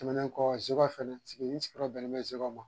Tɛmɛnen kɔ Zeguwa fana, n sigiyɔrɔ bɛnnen bɛ Zeguwa ma